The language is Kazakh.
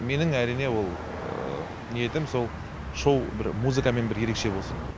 менің әрине ол ниетім сол шоу музыкамен бір ерекше болсын